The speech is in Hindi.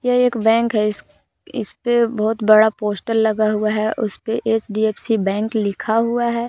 यह एक बैंक है इसपे बहुत बड़ा पोस्टर लगा हुआ है उसपे एच_डी_एफ_सी बैंक लिखा हुआ है।